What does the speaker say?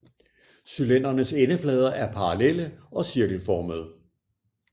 Cylindernes endeflader er parallelle og er cirkelformede